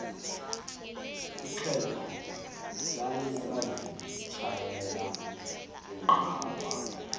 ixhego lalisazitshayela inqawa